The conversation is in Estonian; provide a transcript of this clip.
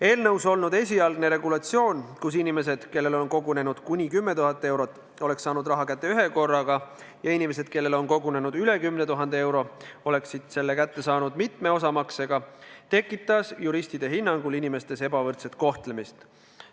Eelnõus olnud esialgne regulatsioon, mille kohaselt inimesed, kellel on kogunenud kuni 10 000 eurot, oleks saanud raha kätte ühekorraga, ja inimesed, kellel on kogunenud üle 10 000 euro, oleksid selle kätte saanud mitme osamaksega, tekitanuks juristide hinnangul inimeste ebavõrdset kohtlemist.